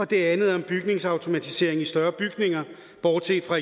det andet om bygningsautomatiseringer i større bygninger bortset fra